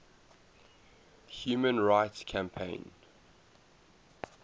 human rights campaign